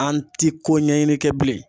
An ti ko ɲɛɲini kɛ bilen.